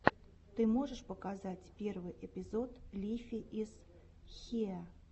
ты можешь показать первый эпизод лифи из хиэ